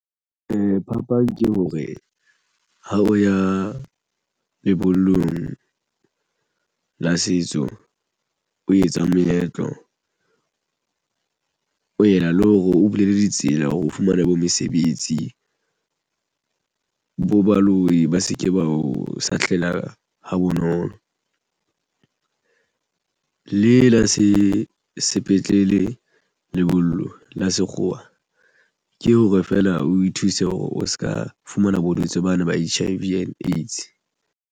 Ee, phapang ke hore ha o ya lebollong la setso o etsa moetlo o ena le ho re o bulele ditsela hore o fumana bo mesebetsi bo baloi ba se ke ba o sahlela ha bonolo le la se sepetlele. Lebollo la sekgowa ke hore feela o thuse hore o se ka fumana bolotse bana ba H_I_V and AIDS.